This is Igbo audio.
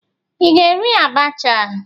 Ị ga-eri abacha?